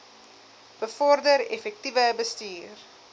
bevorder effektiewe bestuur